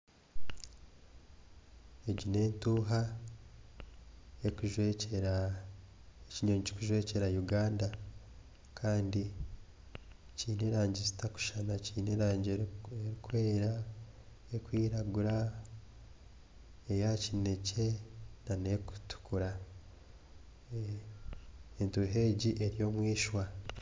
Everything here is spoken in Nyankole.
Egi n'entuuha ekinyonyi kirikujwekyera Uganda kandi kiine erangi zitarikushushana kiine erangi erikwera, erikwiragura, eya kineekye n'erikutukura, entuuha egi eri omwishwa